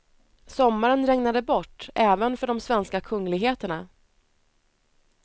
Sommaren regnade bort även för de svenska kungligheterna.